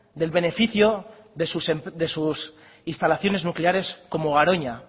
del beneficio de sus instalaciones nucleares como garoña